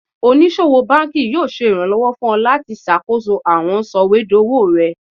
Onisowo banki yoo ṣe iranlọwọ fun ọ lati ṣakoso awọn sọwedowo rẹ